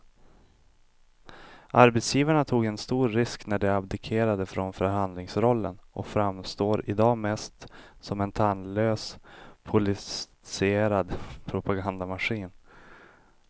Arbetsgivarna tog en stor risk när de abdikerade från förhandlingsrollen och framstår i dag mest som en tandlös politiserad propagandamaskin.